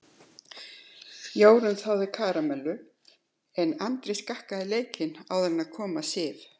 Jórunn þáði karamellu en Andri skakkaði leikinn áður en kom að Sif.